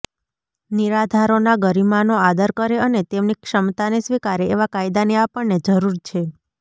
નિરાધારોના ગરિમાનો આદર કરે અને તેમની ક્ષમતાને સ્વીકારે એવા કાયદાની આપણને જરૂર છે